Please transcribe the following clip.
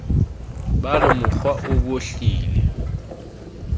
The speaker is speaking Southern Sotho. ba re morwa o bohlile